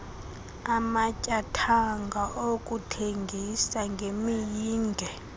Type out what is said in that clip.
amatyathanga okuthengisa ngemiyinge